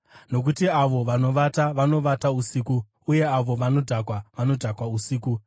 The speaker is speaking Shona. Nokuti avo vanovata, vanovata usiku, uye avo vanodhakwa, vanodhakwa usiku.